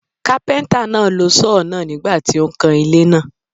Kápẹ́ńtà náà lo Sọ́ọ̀ náà nígbà tí ó ń kan ilé náà.